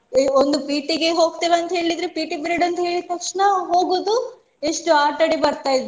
ಒಂದು P.T ಗೆ ಹೋಗ್ತೇವೆ ಅಂತ ಹೇಳಿದ್ರೆ P.T period ಅಂತ ಹೇಳಿದ್ ತಕ್ಷಣ ಹೋಗುದು ಎಷ್ಟು ಆಟ ಆಡಿ ಬರ್ತಾ ಇದ್ವಿ.